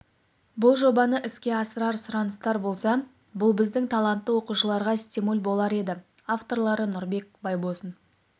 бұл жобаны іске асырар сұраныстар болса бұл біздің талантты оқушыларға стимул болар еді авторлары нұрбек байбосын